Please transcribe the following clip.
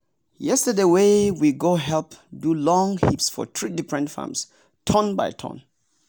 yesterday we go help people do long heaps for three different farms turn by turn.